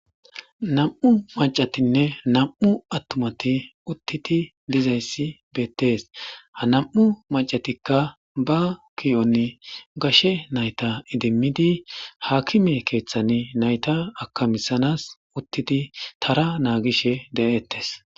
nam7u macatinne nam7u attumati uttiti dizayssi beettees ha nam7u macatikka ba kiyon gashe nayta idimmidi haakime keeththani nayta akamisanas uttidi tara naagishe de7ettes